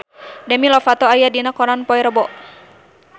Demi Lovato aya dina koran poe Rebo